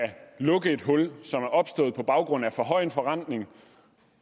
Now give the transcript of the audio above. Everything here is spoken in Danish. lukke et hul som er opstået på baggrund af for høj en forrentning